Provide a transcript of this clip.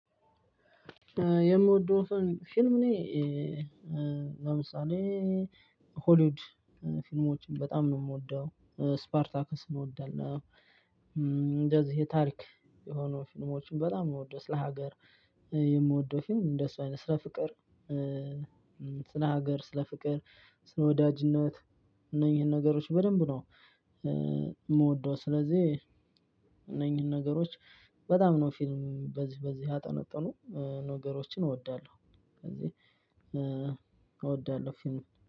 የምወደው ፊልም እኔ ለምሳሌ ሆሊውድ ፊልሞችን በጣም ነው የምወደው። ስፓርታከስ እንወዳለው። እንደዚህ የታሪክ የሆኑ ፊልሞችን በጣም እምወደው ስለ ሀገር የምወደው ፊልም እንደሱ አይነት ስለ ፍቅር። ስለ ሀገር ስለ ፍቅር ስለ ወዳጅነት። እነዚህን ነገሮች በደንብ ነው እምወደው። ስለዚህ እነኚህን ነገሮች በጣም ነው ፊልም በዚህ በዚህ ያጠነጠኑ ነገሮችን እወዳለሁ። ከዚህ እወዳለሁ ፊልም